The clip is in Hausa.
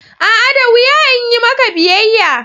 A'a! da wuya in yi maka biyayya.